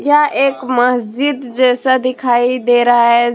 यह एक मस्जिद जैसा दिखाई दे रहा है।